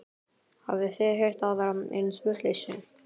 Hafið þið heyrt aðra eins vitleysu?